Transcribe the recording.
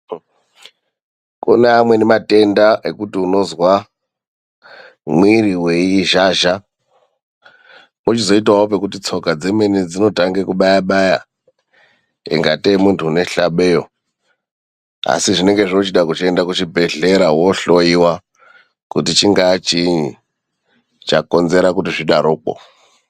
Kune amweni matenda ekuti unozwa mwiiri weizhazha, pochizoitawo pekuti tsoka dzemene dzinotanga kubaya-baya ingatei munthu une hlabeyo. Asi zvinenge zvoochida kuchiende kuchibhedhlera woohloiwa kuti chingaa chiinyi chakonzera kuti zvidarokwo.